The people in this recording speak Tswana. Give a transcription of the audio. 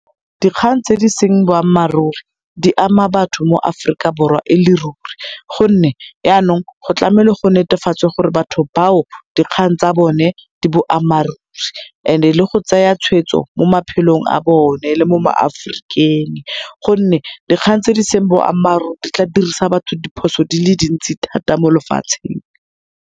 Dikgang tse di seng boammaaruri di ama batho mo Aforika Borwa e le ruri, gonne yanong go tlamele go netefatswe gore batho bao dikgang tsa bone di boammaruri and-e le go tsaya tshweetso mo maphelong a bone le mo ma Aforikeng, gonne dikgang tse e seng boammaaruri di tla dirisa batho diphoso di le dintsi thata mo lefatsheng.